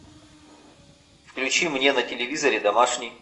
включи мне на телевизоре домашний